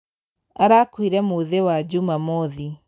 Arakuire mũthĩwa jumamothi.